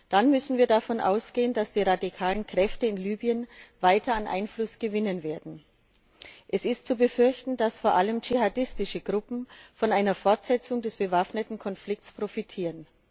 Dann müssen wir davon ausgehen, dass die radikalen Kräfte in Libyen weiter an Einfluss gewinnen werden. Es ist zu befürchten, dass vor allem dschihadistische Gruppen von einer Fortsetzung des bewaffneten Konflikts profitieren.